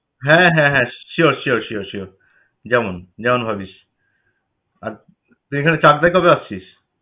হ্যাঁ হ্যাঁ হ্যাঁ sure sure sure sure যেমন যেমন ভাবিস। আর তুই এখানে চাকদা কবে আসছিস?